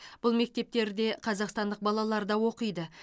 бұл мектептерде қазақстандық балалар да оқиды